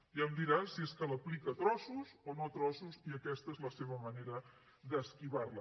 ja em dirà si és que l’aplica a trossos o no a trossos i aquesta és la seva manera d’esquivar la